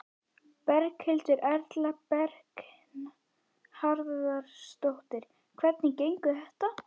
Berghildur Erla Bernharðsdóttir: Hvernig gengur þetta?